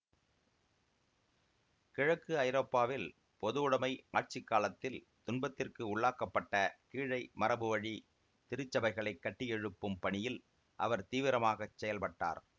கிழக்கு ஐரோப்பாவில் பொதுவுடைமை ஆட்சி காலத்தில் துன்பத்திற்கு உள்ளாக்கப்பட்ட கீழை மரபுவழி திருச்சபைகளைக் கட்டியெழுப்பும் பணியில் அவர் தீவிரமாகச் செயல்பட்டார்